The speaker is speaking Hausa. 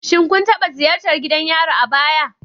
Shin kun taɓa ziyartar gidan yari a baya?